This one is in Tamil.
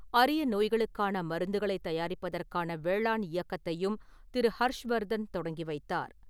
அரிய நோய்களுக்கான மருந்துகளைத் தயாரிப்பதற்கான வேளாண் இயக்கத்தையும் திரு. ஹர்ஷ்வர்தன் தொடங்கி வைத்தார்.